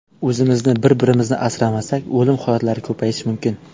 O‘zimizni, bir-birimizni asramasak, o‘lim holatlari ko‘payishi mumkin.